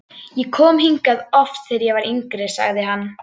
Ég kom hingað oft, þegar ég var yngri sagði hann.